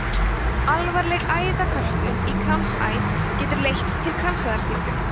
alvarleg æðakölkun í kransæð getur leitt til kransæðastíflu